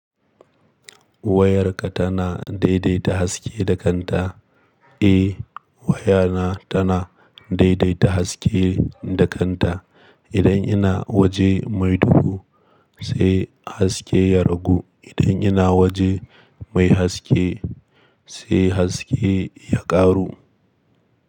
Wayarka tana daidaita haske da kanta? Eh wayana tana daidaita haske da kanta. Idan ina waje mai duhu sai haske ya ragu. Idan ina waje mai haske sai haske ya ƙaru.